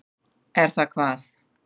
Er það hvað.